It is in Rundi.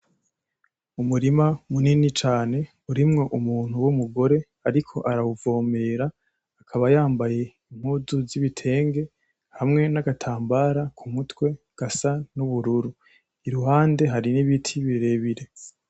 Umurima munini cane urimwo umuntu w'umugore ariko arawuvomera akaba yambaye impuzu z'ibitenge hamwe n'agatambara kumutwe gasa n'ubururu iruhande hari n'ibiti birebire.